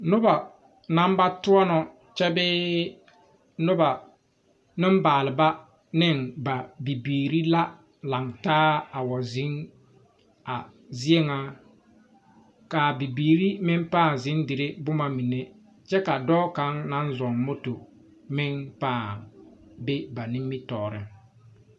Noba naŋ ba toɔno kyɛ bee noba Nenbaalba ne ba bibiiri la laŋ taa a wa zeŋ a zie ŋa kaa bibiiri meŋ paa zeŋ dire boma mine kyɛ ka dɔɔ kaŋa naŋ zo moto meŋ paa be ba nimitɔɔre.